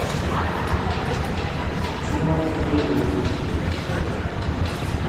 дима кирилюк